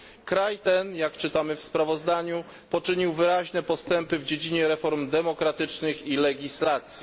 Kraj ten jak czytamy w sprawozdaniu poczynił wyraźne postępy w dziedzinie reform demokratycznych i legislacji.